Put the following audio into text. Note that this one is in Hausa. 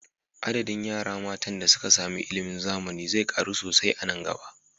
Adadin yara matan da suka samu ilimin zamani zai ƙaru sosai a nan gaba